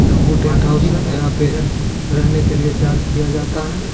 तंबू tent house यहाँ पे रहने के लिए चार्ज किया जाता है।